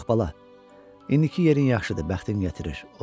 Yox, bala, indiki yerin yaxşıdır, bəxtin gətirir.